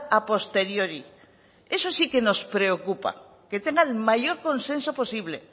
a posteriori eso sí que nos preocupa que tenga el mayor consenso posible